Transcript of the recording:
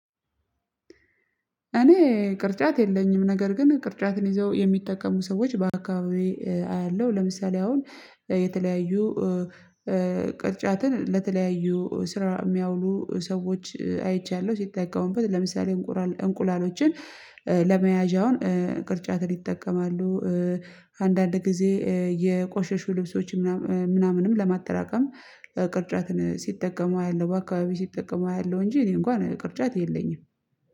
እኔ ቅርጫት የለኝም ነገር ግን ቅርጫትን ይዘው የሚጠቀሙ ሰዎች በአካባቢዬ አያለሁ ለምሳሌ አሁን የተለያዩ ቅርጫትን ለተለያዩ ስራ የሚያውሉ ሰዎች አይቻለሁ ሲጠቀሙበት ለምሳሌ እንቁላል እንቁላሎችን ለመያዣውን ይጠቀማሉ። አንዳንድ ጊዜ የቆሸሹ ልብሶች ምናምን ምናምንም ለማተራቀም ቅርጫትን ሲጠቀሙ አያለው በአካባቢ ሲጠቀሙ አያለው። እንጂ እኔ እንኳን ቅርጫት የለኝም